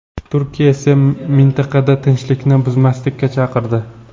Turkiya esa mintaqada tinchlikni buzmaslikka chaqirdi .